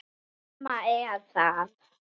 Mamma er þar líka.